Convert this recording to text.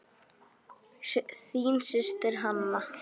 Þín systir, Hanna.